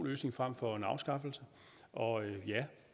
løsning frem for en afskaffelse og ja